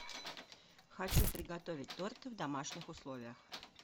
хочу приготовить торты в домашних условиях